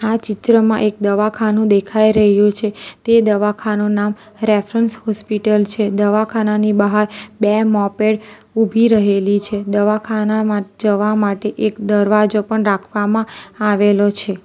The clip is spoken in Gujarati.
આ ચિત્રમાં એક દવાખાનું દેખાઈ રહ્યું છે તે દવાખાનું નામ રેફરન્સ હોસ્પિટલ છે દવાખાનાની બહાર બે મોપેડ ઉભી રહેલી છે દવાખાનામાં જવા માટે એક દરવાજો પણ રાખવામાં આવેલો છે.